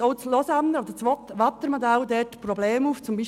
Auch das Waadtländer Modell weist hier Probleme auf.